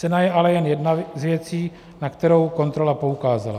Cena je ale jen jedna z věcí, na kterou kontrola poukázala."